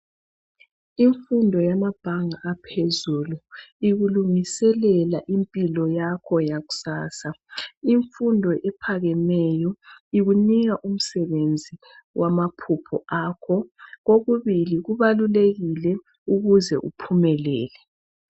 Imfundo yamabhanga aphezulu ikulungiselela impilo yakho yakusasa. Imfundo ephakemeyo ukunika umsebenzi wamaphupho akho. Kokubili kubalulekile ukuze uphumelele.